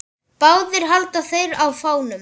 Báðir halda þeir á fánum.